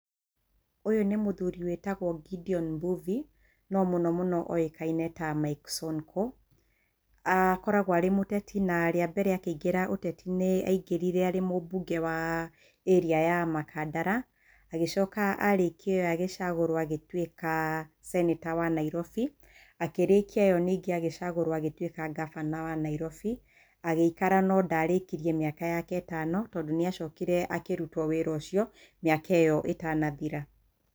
Ũyũ nĩ mũthuri wĩtagwo Gedion Mbuvi, no mũno mũno oĩkaine ta Mike Sonko. Akoragwo arĩ mũteti, na rĩa mbere akĩingĩra ũteti-inĩ aingĩrire arĩ mũbunge wa area ya Makandara. Agĩcoka arĩkia ĩyo agĩcagũrwo agĩtuĩka senator wa Nairobi. Akĩrĩkia ĩyo ningĩ agĩcagũrwo agĩtuĩka ngavana wa Nairobi. Agĩikara no ndarĩkirie mĩaka yake ĩtano tondũ nĩ acokire akĩrutwo wĩra ũcio, mĩaka ĩyo ĩtanathira.